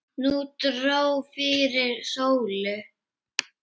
Nú dró fyrir sólu.